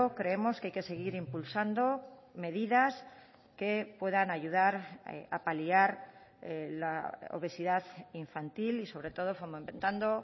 creemos que hay que seguir impulsando medidas que puedan ayudar a paliar la obesidad infantil y sobre todo fomentando